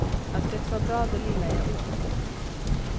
Att det var bra det lilla jag åt.